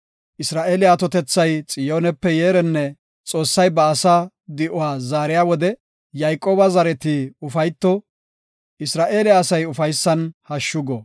Isra7eele atotethay Xiyoonepe yeerenne! Xoossay ba asaa di7uwa zaariya wode, Yayqooba zareti ufayto; Isra7eele asay ufaysan hashshu go.